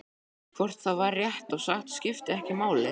Hvort það var rétt og satt skipti ekki máli.